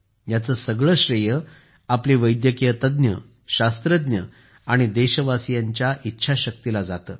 याचे सगळे श्रेय आपले वैद्यकीय तज्ञ शास्त्रज्ञ आणि देशवासीयांच्या इच्छाशक्तीला जाते